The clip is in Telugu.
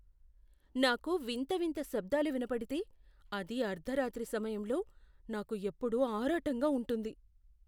నాకు వింత వింత శబ్దాలు వినపడితే, అదీ అర్ధరాత్రి సమయంలో, నాకు ఎప్పుడూ ఆరాటంగా ఉంటుంది.